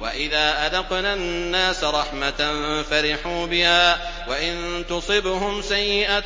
وَإِذَا أَذَقْنَا النَّاسَ رَحْمَةً فَرِحُوا بِهَا ۖ وَإِن تُصِبْهُمْ سَيِّئَةٌ